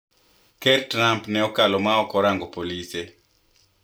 Ker Trump ne okalo ma ok orango Pelosi